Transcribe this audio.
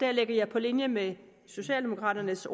her på linje med socialdemokraternes